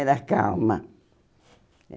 Era calma.